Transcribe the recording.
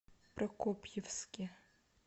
прокопьевске